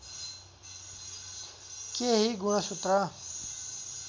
केही गुणसूत्र